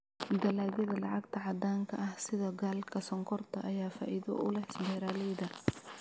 Dalagyada lacagta caddaanka ah sida galka sonkorta ayaa faa'iido u leh beeralayda.